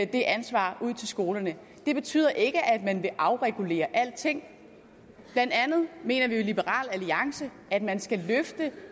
det ansvar ud til skolerne det betyder ikke at man vil afregulere alting blandt andet mener vi jo i liberal alliance at man skal løfte